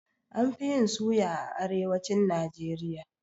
An fi yin suya a arewacin Najeriya